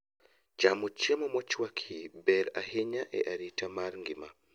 Chamo chiemo mochwaki ber ahinya e arita mar ng'ima